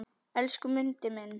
Elsku Mundi minn.